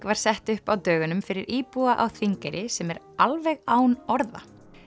var sett upp á dögunum fyrir íbúa á Þingeyri sem er alveg án orða